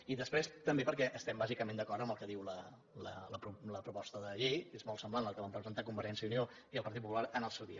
i després també perquè estem bàsicament d’acord amb el que diu la proposta de llei que és molt semblant a la que van presentar convergència i unió i el partit popular en el seu dia